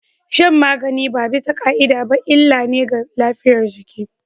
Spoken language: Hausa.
Shan magani ba bisa ka'ida ba illa ne ga lafiyar jiki